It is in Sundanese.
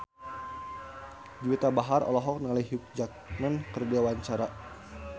Juwita Bahar olohok ningali Hugh Jackman keur diwawancara